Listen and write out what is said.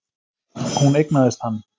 Hún eignaðist hann.